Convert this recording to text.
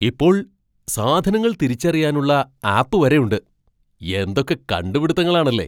ഇപ്പോൾ സാധനങ്ങൾ തിരിച്ചറിയാനുള്ള ആപ്പ് വരെയുണ്ട്, എന്തൊക്കെ കണ്ടുപിടിത്തങ്ങളാണല്ലേ!